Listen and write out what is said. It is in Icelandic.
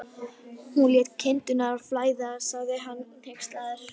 Hún lét kindurnar flæða, sagði hann hneykslaður.